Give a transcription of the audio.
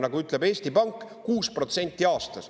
Nagu ütleb Eesti Pank: 6% aastas.